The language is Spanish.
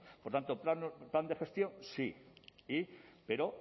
por tanto plan de gestión sí pero